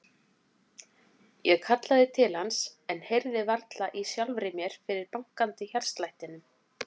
Ég kallaði til hans en heyrði varla í sjálfri mér fyrir bankandi hjartslættinum.